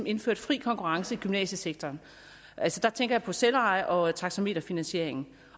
indført fri konkurrence i gymnasiesektoren altså der tænker jeg på selveje og taxameterfinansiering